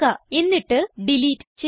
എന്നിട്ട് ഡിലീറ്റ് ചെയ്യുക